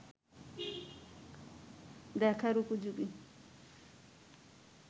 দেখার উপযোগী